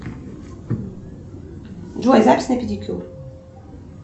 джой запись на педикюр